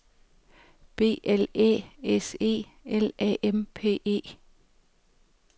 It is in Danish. B L Æ S E L A M P E